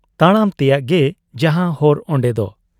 ᱛᱟᱲᱟᱢ ᱛᱮᱭᱟᱜ ᱜᱮ ᱡᱟᱦᱟᱸ ᱦᱚᱨ ᱚᱱᱰᱮᱫᱚ ᱾